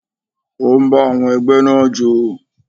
Ó ń bá àwọn ẹgbẹ́ náà jó.